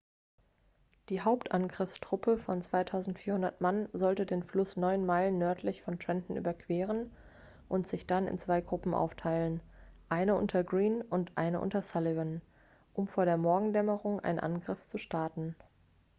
die hauptangriffstruppe von 2.400 mann sollte den fluss neun meilen nördlich von trenton überqueren und sich dann in zwei gruppen aufteilen eine unter greene und eine unter sullivan um vor der morgendämmerung einen angriff zu starten